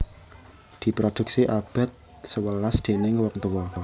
Diproduksi abad sewelas déning wong tuwa